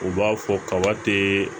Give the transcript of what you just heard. U b'a fɔ kaba tɛ